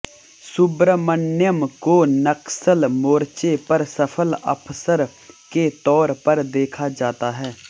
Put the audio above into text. सुब्रमण्यम को नक्सल मोर्चे पर सफल अफसर के तौर पर देखा जाता है